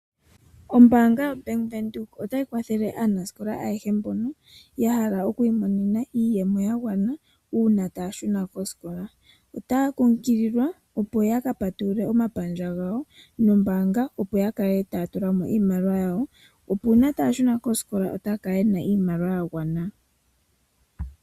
Ombaanga yobank Windhoek otayi kwa thele aanasikola ayehe mbono yahala okwiimonena iiyemo yagwana uuna taya shuna koosikola, otaya kunkulilwa opo ya ka patulule omapandja gawo gombaanga, opo ya ka le taya tula mo iimaliwa yawo opo uuna taya shuna koosikola yakale yena iimaliwa ya gwana.